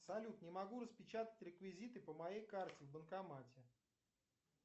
салют не могу распечатать реквизиты по моей карте в банкомате